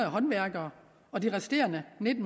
håndværkere og de resterende en